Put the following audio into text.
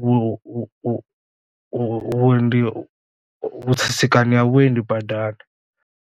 vhu vhu vhu vhu vhuendi vhu tsitsikana ha vhuendi badani.